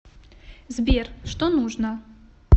сбер что нужно